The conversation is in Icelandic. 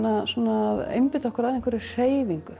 að einbeita okkur að einhverri hreyfingu